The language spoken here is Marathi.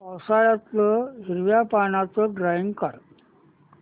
पावसाळ्यातलं हिरव्या पानाचं ड्रॉइंग काढ